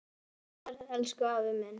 Góða ferð, elsku afi minn.